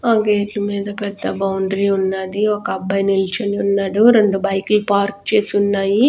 ఆ గేట్ లు మీద పెద్ద బౌండ్రి వుండాది ఒక్క అబ్బాయి నిల్చొనిఉన్నాడు రెండు బైక్ లు పార్క్ చేసున్నాయి.